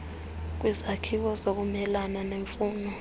kwezakhiwo zokumelana nemfuno